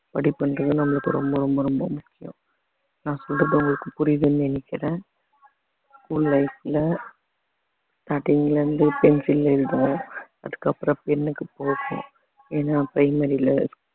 படிப்பின்றது நம்மளுக்கு ரொம்ப ரொம்ப ரொம்ப முக்கியம் நான் சொல்றது உங்களுக்கு புரியுதுன்னு நினைக்கிறேன் school life ல starting ல இருந்து pencil ல எழுதுவோம் அதுக்கப்புறம் pen க்கு போறோம் ஏன்னா primary ல